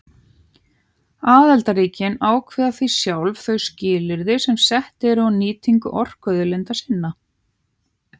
Aðildarríkin ákveða því sjálf þau skilyrði sem sett eru á nýtingu orkuauðlinda sinna.